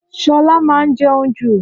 Ṣọlá máa ń jẹun jù